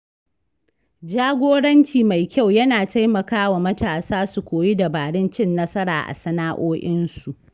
Jagoranci mai kyau yana taimakawa matasa su koyi dabarun cin nasara a sana’o'insu.